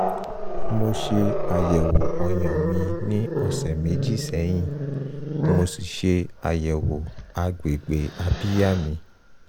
mo ṣe àyẹ̀wò ọyàn mi ní ọ̀sẹ̀ méjì sẹ́yìn mo sì ṣe àyẹ̀wò agbègbè abíyá mi